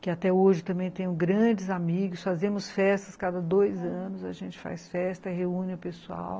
que até hoje também tenho grandes amigos, fazemos festas cada dois anos, a gente faz festa, reúne o pessoal.